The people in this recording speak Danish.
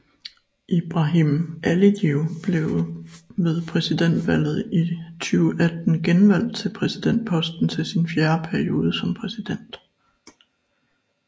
Ilham Alijev blev ved præsidentvalget i 2018 genvalgt til præsidentposten til sin fjerde periode som præsident